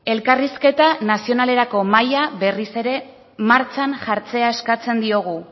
elkarrizketa nazionalerako maila berriz ere martxan jartzea eskatzen diogu